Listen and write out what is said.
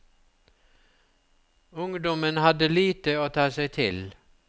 Ungdommen hadde lite å ta seg til.